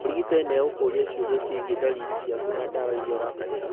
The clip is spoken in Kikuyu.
Mũrigitani nĩ egũkũria ciũria ciĩgiĩ dariri ciaku na dawa iria ũrahũthĩra